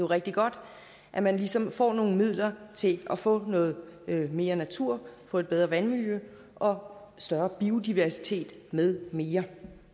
rigtig godt at man ligesom får nogle midler til at få noget mere natur få et bedre vandmiljø og større biodiversitet med mere